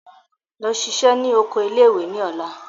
Lọ ṣiṣẹ́ ní oko ilé ìwé ní ọ̀la!